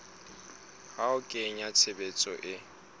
ho a kenya tshebetsong e